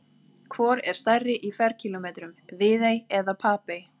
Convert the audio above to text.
Hvor er stærri í ferkílómetrum, Viðey eða Papey?